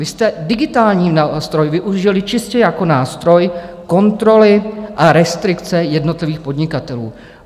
Vy jste digitální nástroj využili čistě jako nástroj kontroly a restrikce jednotlivých podnikatelů.